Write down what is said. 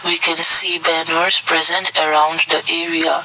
we can see banners present around the area.